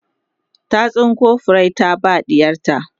ta tsinko furrai ta ba ɗiyarta